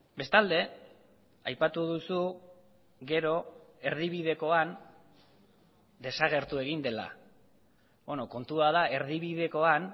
bestalde aipatu duzu gero erdibidekoan desagertu egin dela kontua da erdibidekoan